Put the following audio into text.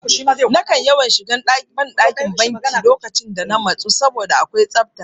Nakan yawan shiga ban ɗakin banki duk lokacin da na matsu saboda akwai safta